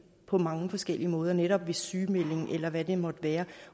på mange forskellige måder netop ved sygemelding eller hvad det måtte være